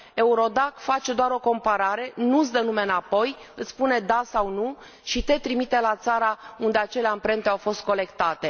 EURODAC face doar o comparare, nu îți dă nume înapoi, îți spune da sau nu și te trimite la țara unde acele amprente au fost colectate.